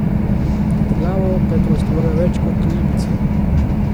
Nad glavo pa je prostora več kot v ibizi.